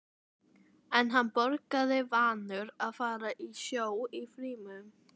En hann borgaði, vanur að fara á sjó í fríum.